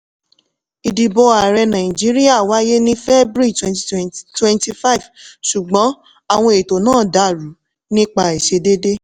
ìdìbò ààrẹ nàìjíríà wáyé ní february 25 ṣùgbọ́n àwọn ètò náà dàrú nípa àìṣedéédé.